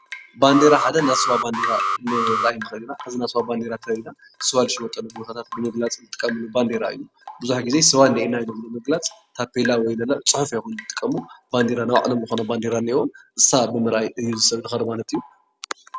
ባንዴራ ሓደ ናይ ስዋ ባንዴራ ክንርኢ ንክእል ኢና፡፡ ናይ ስዋ ባንዴራ እንተሪእና ስዋ ዝሽየጠሉ ቦታ ንምፍላጥ ዝጠቅም ባንዴራ እዩ፡፡ ብዙሕ ግዜ ስዋ እንሄና ኢሎም ንምግላፅ ወይ ታፔላ ክንዲ ምልጣፍ ፅሑፍ ኣይኮኑን ዝጥቀሙ ናይ ባዕሎም ዝኮነ ባንዴራ ኣለዎም ንሳ ብምርኣይ ሰብ ይከዶም፡፡